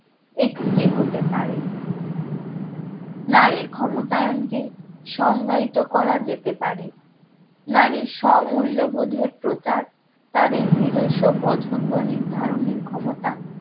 একটি হতে পারে নারীর ক্ষমতায়ন কে সংজ্ঞায়িত করা যেতে পারে নারীর স্ব মূল্যবোধের প্রচার তাদের নিজস্ব পছন্দ নির্ধারণের ক্ষমতা